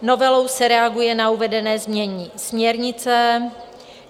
Novelou se reaguje na uvedené znění směrnice.